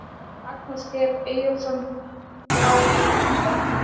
Magnús Geir Eyjólfsson Grátlegt.